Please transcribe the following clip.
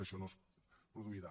això no es produirà